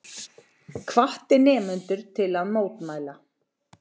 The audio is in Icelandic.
Hvatti nemendur til að mótmæla